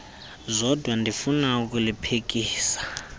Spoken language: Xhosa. zodwa ndifuna ukuliphikisa